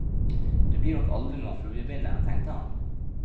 Du blir nok aldri noen fluebinder, tenkte han.